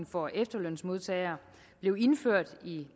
for efterlønsmodtagere blev indført i